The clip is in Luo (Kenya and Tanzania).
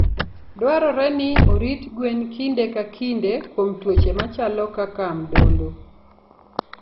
Dwarore ni orit gwen kinde ka kinde kuom tuoche machalo kaka mdondo.